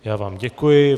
Já vám děkuji.